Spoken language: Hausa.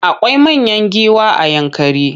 Akwai manyan giwa a Yankari.